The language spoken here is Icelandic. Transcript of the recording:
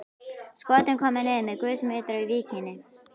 Skotin komu niður með gusum utar á víkinni.